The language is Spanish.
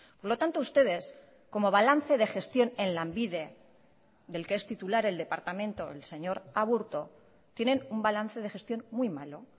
por lo tanto ustedes como balance de gestión en lanbide del que es titular el departamento el señor aburto tienen un balance de gestión muy malo